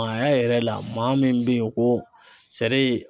Maaya yɛrɛ la maa min bɛ ye ko